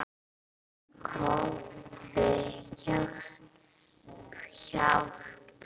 Kobbi, hjálp, hjálp.